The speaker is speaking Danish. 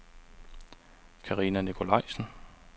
Karina Nicolajsen